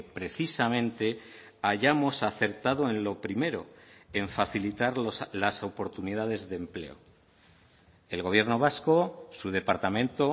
precisamente hayamos acertado en lo primero en facilitar las oportunidades de empleo el gobierno vasco su departamento